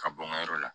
Ka bɔ n ka yɔrɔ la